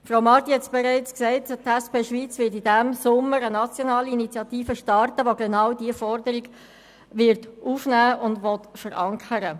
Frau Marti hat es bereits gesagt, die SP Schweiz wird diesen Sommer eine nationale Initiative starten, welche genau diese Forderung aufnehmen wird und verankern will.